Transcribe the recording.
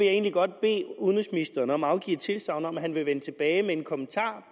egentlig godt bede udenrigsministeren om at afgive et tilsagn om at han vil vende tilbage med en kommentar